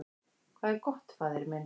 """Hvað er gott, faðir minn?"""